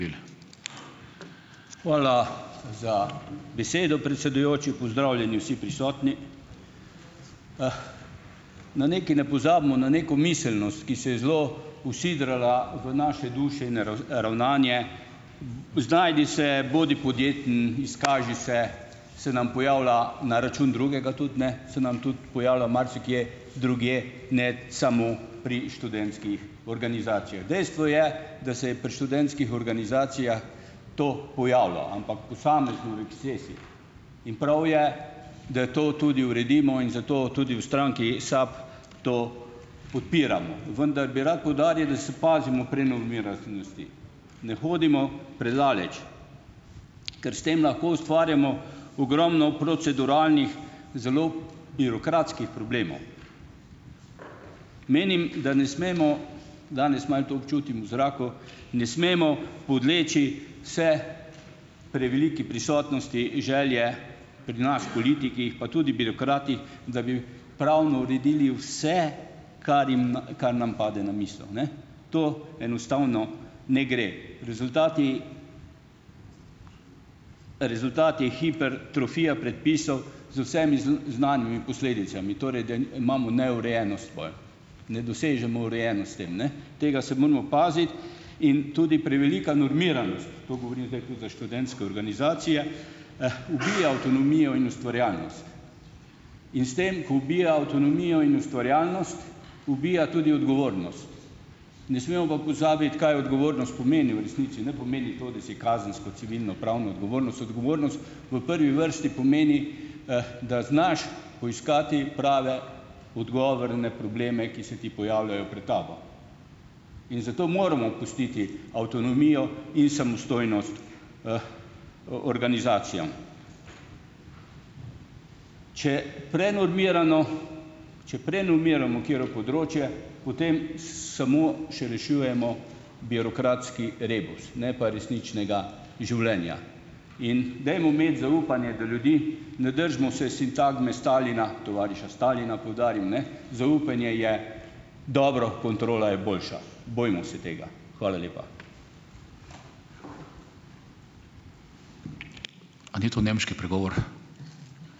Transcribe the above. Hvala za besedo, predsedujoči. Pozdravljeni vsi prisotni! Na nekaj ne pozabimo, na neko miselnost, ki se je zelo usidrala v naše duše in ravnanje, znajdi se, bodi podjeten, izkaži se, se nam pojavlja na račun drugega tudi, ne, se nam tudi pojavlja marsikje drugje, ne samo pri študentskih organizacijah. Dejstvo je, da se je pri študentskih organizacijah to pojavilo, ampak posamezno v ekscesih. In prav je, da to tudi uredimo, in zato tudi v stranki SAB to podpiramo. Vendar bi rad poudaril, da se pazimo pri normiranosti, ne hodimo predaleč, ker s tem lahko ustvarjamo ogromno proceduralnih, zelo birokratskih problemov. Menim, da ne smemo, danes malo to občutim v zraku, ne smemo podleči vse preveliki prisotnosti, želje pri nas politikih pa tudi birokratih, da bi pravno uredili vse, kar jim kar nam pade na misel, ne. To enostavno ne gre. Rezultati rezultat je hipertrofija predpisov z vsemi znanimi posledicami, torej da imamo neurejenost pol, ne dosežemo urejenost s tem, ne. Tega se moramo paziti. In tudi prevelika normiranost, to govorim zdaj tudi za študentske organizacije, ubija avtonomijo in ustvarjalnost. In s tem, ko ubija avtonomijo in ustvarjalnost, ubija tudi odgovornost. Ne smemo pa pozabiti, kaj odgovornost pomeni v resnici. Ne pomeni to, da si kazensko, civilnopravno odgovornost, odgovornost, v prvi vrsti pomeni, da znaš poiskati prave odgovore na probleme, ki se ti pojavljajo pred tabo, in zato moramo pustiti avtonomijo in samostojnost, organizacijam. Če prenormirano, če prenormiramo katero področje, potem samo še rešujemo birokratski rebus, ne pa resničnega življenja. In dajmo imeti zaupanje do ljudi, ne držimo se sintagme Stalina, tovariša Stalina, poudarim, ne. Zaupanje je dobro, kontrola je boljša. Bojmo se tega. Hvala lepa.